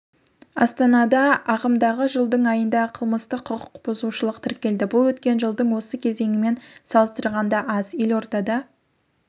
астанада ағымдағы жылдың айында қылмыстық құқық бұзушылық тіркелді бұл өткен жылдың осы кезеңімен салыстырғанда аз елордада